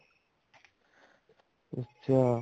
ਅੱਛਾ